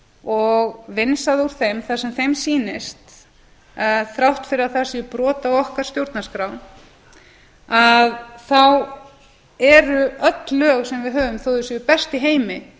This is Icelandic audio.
og vinsað úr þeim það sem þeim sýnist þrátt fyrir að það sé brot á okkar stjórnarskrá að þá eru öll lög sem við höfum þó að þau séu best í heimi